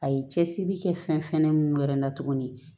A ye cɛsiri kɛ fɛn fɛnɛ min yɛrɛ la tuguni